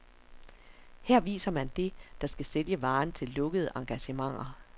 Her viser man det, der skal sælge varen til lukkede engagementer.